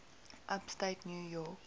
upstate new york